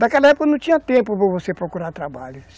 Naquela época não tinha tempo para você procurar trabalho.